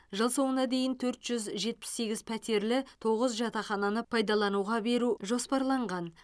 жыл соңына дейін төрт жүз жетпіс сегіз пәтерлі тоғыз жатақхананы пайдалануға беру жоспарланған